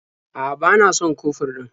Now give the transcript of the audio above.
A'a, ba na son kofur ɗin.